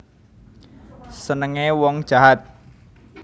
Senenge wong jahat